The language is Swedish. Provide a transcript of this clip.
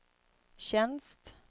tjänst